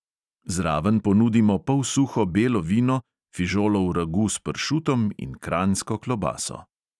Zraven ponudimo polsuho belo vino, fižolov ragu s pršutom in kranjsko klobaso.